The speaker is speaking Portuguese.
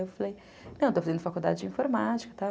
Eu falei, não, estou fazendo faculdade de informática, e tal.